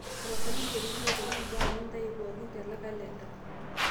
tapasali nterunye aitoki mbaa nintayu pooki te kalenda